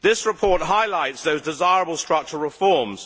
This report highlights those desirable structural reforms.